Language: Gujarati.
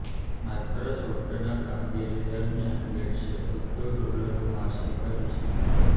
માઇક્રોસોફ્ટના કામગીરી દરમિયાન ગેટ્સે અબજો ડોલરનું હાંસલ કરી છે